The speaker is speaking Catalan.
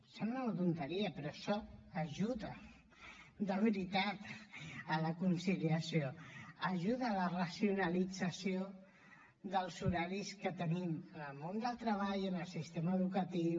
sembla una tonteria però això ajuda de veritat a la conciliació ajuda a la racionalització dels horaris que tenim en el món del treball en el sistema educatiu